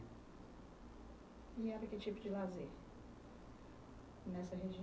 E era que tipo de lazer? Nessa região?